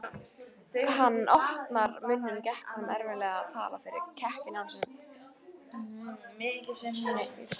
Þegar hann opnaði munninn gekk honum erfiðlega að tala fyrir kekkinum í hálsinum.